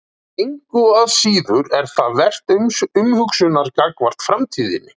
Engu að síður er það vert umhugsunar gagnvart framtíðinni.